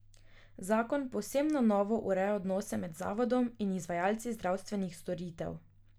Zakon povsem na novo ureja odnose med Zavodom in izvajalci zdravstvenih storitev.